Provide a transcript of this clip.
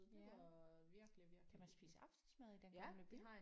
Ja. Kan man spise aftensmad i Den Gamle By?